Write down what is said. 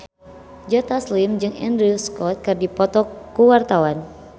Joe Taslim jeung Andrew Scott keur dipoto ku wartawan